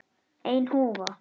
Ein húfa.